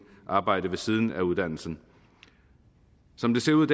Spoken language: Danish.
arbejde ved siden af uddannelsen som det ser ud